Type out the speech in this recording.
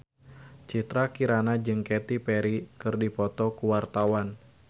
Citra Kirana jeung Katy Perry keur dipoto ku wartawan